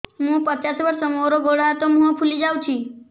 ମୁ ପଚାଶ ବର୍ଷ ମୋର ଗୋଡ ହାତ ମୁହଁ ଫୁଲି ଯାଉଛି